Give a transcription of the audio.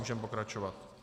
Můžeme pokračovat.